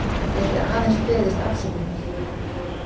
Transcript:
Hann gæti aðeins beðist afsökunar